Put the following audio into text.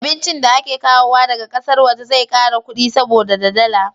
Abincin da ake kawowa daga ƙasar waje zai kara kudi saboda da dala